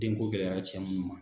Denko gɛlɛyara cɛ minnu ma.